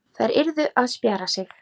Þær yrðu að spjara sig.